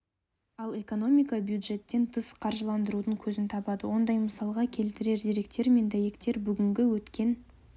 ал экономика бюжеттен тыс қаржыландырудың көзін табады ондай мысалға келтірер деректер мен дәйектер бүгінгі өткен